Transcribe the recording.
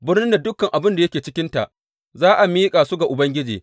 Birnin da dukan abin da yake cikinta za a miƙa su ga Ubangiji.